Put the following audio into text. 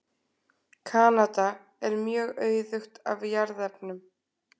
Kanada er mjög auðugt af jarðefnum.